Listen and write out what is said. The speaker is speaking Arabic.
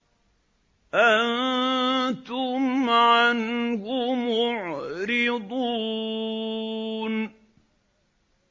أَنتُمْ عَنْهُ مُعْرِضُونَ